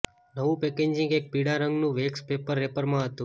નવું પેકેજિંગ એક પીળા રંગનું વેક્સ પેપર રેપરમાં હતું